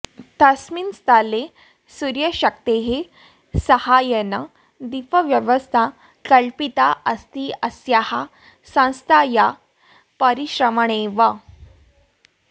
तस्मिन् स्थले सूर्यशक्तेः साहाय्येन दीपव्यवस्था कल्पिता अस्ति अस्याः संस्थायाः परिश्रमेणैव